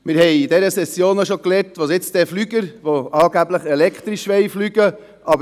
Wir haben in dieser Session auch darüber gesprochen, dass es bald Flugzeuge geben wird, welche elektrisch fliegen sollen.